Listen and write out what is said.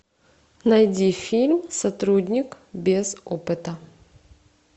найди фильм сотрудник без опыта